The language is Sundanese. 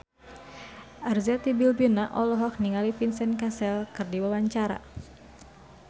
Arzetti Bilbina olohok ningali Vincent Cassel keur diwawancara